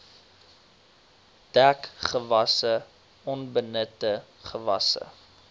dekgewasse onbenutte gewasse